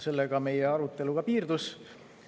Sellega meie arutelu ka piirdus.